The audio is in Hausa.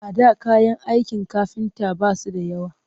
A da kayan aikin kafinta ba su da yawa